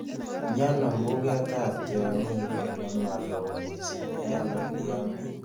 Miano mbugetap tiong'ik ole maa loo miising' eng' olii amiten